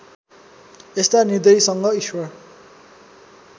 यस्ता निर्दयीसँग ईश्वर